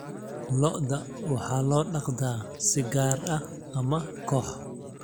Lo'da waxaa loo dhaqdaa si gaar ah ama koox.